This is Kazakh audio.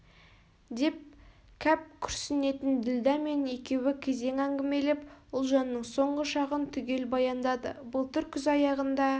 деп кәп күрсінетін ділдә мен екеуі кезек әңгімелеп ұлжанның соңғы шағын түгел баяндады былтыр күз аяғында